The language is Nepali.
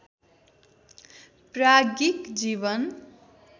प्राज्ञिक जीवन